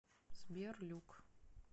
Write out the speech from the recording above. сбер люк